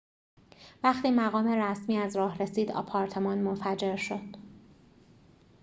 وقتی مقام رسمی از راه رسید آپارتمان منفجر شد